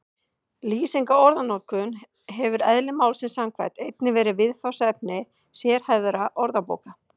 Lýsing á orðanotkun hefur eðli málsins samkvæmt einnig verið viðfangsefni sérhæfðra orðabóka.